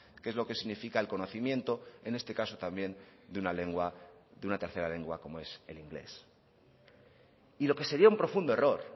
que es lo que significa el conocimiento en este caso también de una lengua de una tercera lengua como es el inglés y lo que sería un profundo error